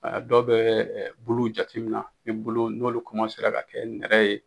A dɔw bɛ bulu jatemina, ni bulu n'olu ka kɛ nɛrɛ ye.